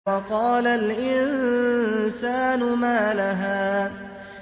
وَقَالَ الْإِنسَانُ مَا لَهَا